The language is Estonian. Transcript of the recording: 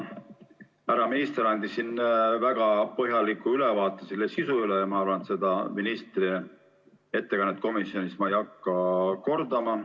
Härra minister andis väga põhjaliku ülevaate selle sisust ja ma arvan, et seda ministri ettekannet komisjonis ma ei hakka kordama.